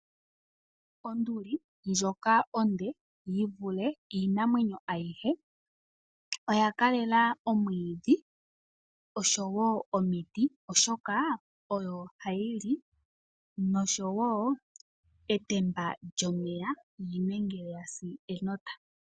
Onduli ndjoka onde yivule iinamwenyo ayihe oya kalela omwiidhi oshowo omiti oshoka odho hayili noshowo etamba lyomeya unene ngele wasi enota